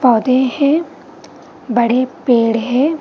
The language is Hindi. पौधे हैं बड़े पेड़ हैं ।